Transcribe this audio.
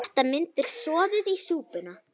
Þetta myndar soðið í súpuna.